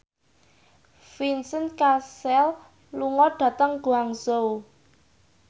Vincent Cassel lunga dhateng Guangzhou